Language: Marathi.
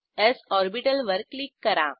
स् ऑर्बिटल वर क्लिक करा